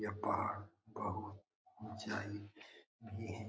यह पहाड़ बहुत ऊंचाई पे है।